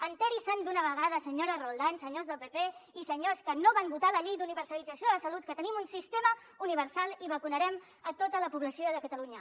assabenti se’n d’una vegada senyora roldán senyors del pp i senyors que no van votar la llei d’universalització de la salut que tenim un sistema universal i vacunarem tota la població de catalunya